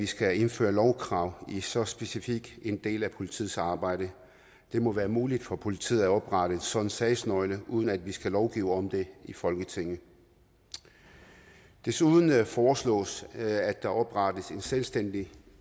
skal indføre lovkrav i en så specifik del af politiets samarbejde det må være muligt for politiet at oprette en sådan sagsnøgle uden at vi skal lovgive om det i folketinget desuden foreslås at der oprettes en selvstændig